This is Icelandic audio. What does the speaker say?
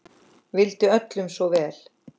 Vildi öllum svo vel.